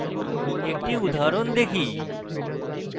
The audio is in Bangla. একটি উদাহরণ দেখি